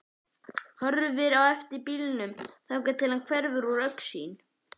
Horfir á eftir bílnum þangað til hann hverfur úr augsýn.